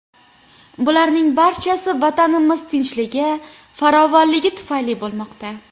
Bularning barchasi Vatanimiz tinchligi, farovonligi tufayli bo‘lmoqda.